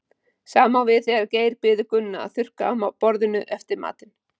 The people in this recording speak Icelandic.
Sama á við þegar Geir biður Gunna að þurrka af borðinu eftir matinn.